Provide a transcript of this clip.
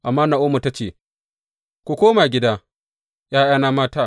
Amma Na’omi ta ce, Ku koma gida, ’ya’yana mata.